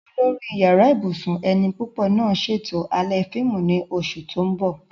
Olórí Yàrá ibùsùn ẹni púpọ̀ náà ṣètò alẹ́ fíìmù ní oṣù tó ń bọ̀